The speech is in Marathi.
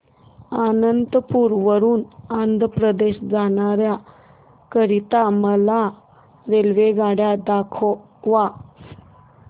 अनंतपुर वरून आंध्र प्रदेश जाण्या करीता मला रेल्वेगाडी दाखवा